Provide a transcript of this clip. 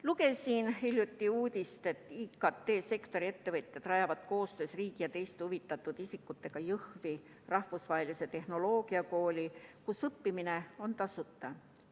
Lugesin hiljuti uudist, et IKT-sektori ettevõtjad rajavad koostöös riigi ja teiste huvitatud isikutega Jõhvi rahvusvahelise tehnoloogiakooli, kus õppimine on tasuta.